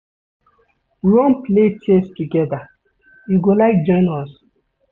We wan play chess togeda, you go like join us?